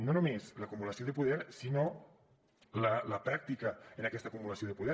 no només l’acumulació de poder sinó la pràctica en aquesta acumulació de poder